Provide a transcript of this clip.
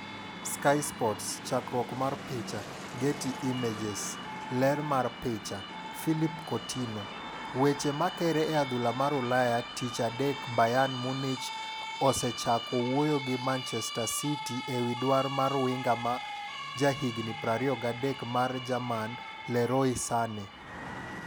(Sky Sports) Chakruok mar picha, Getty Images. Ler mar picha, Philippe Coutinho .Weche makere e adhula mar Ulaya tich adek Bayern Munich osechako wuoyo gi Manchester City ewi dar mar winga ma jahigni 23 mar jerman Leroy Sane.